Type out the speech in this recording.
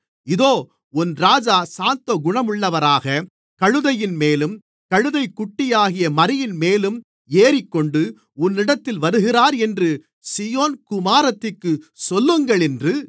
இதோ உன் ராஜா சாந்தகுணமுள்ளவராக கழுதையின்மேலும் கழுதைக்குட்டியாகிய மறியின்மேலும் ஏறிக்கொண்டு உன்னிடத்தில் வருகிறார் என்று சீயோன் குமாரத்திக்குச் சொல்லுங்கள் என்று